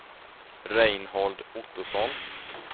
Reinhold Ottosson